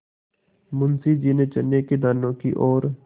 मुंशी जी ने चने के दानों की ओर